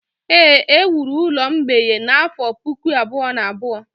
Éè, e wuru ụlọ mgbei a n’afọ Puku abụọ na abụọ.